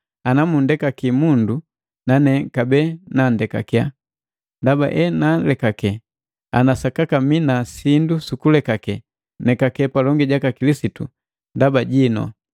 Anamundekaki mundu, nane kabee nundekake. Ndaba enaalekake, ana sakaka mina sindu sukulekake, nekake palongi jaka Kilisitu ndaba jinu.